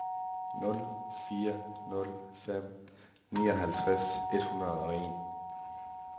nul fire nul fem nioghalvtreds et hundrede og en